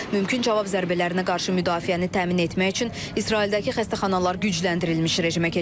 Mümkün cavab zərbələrinə qarşı müdafiəni təmin etmək üçün İsraildəki xəstəxanalar gücləndirilmiş rejimə keçir.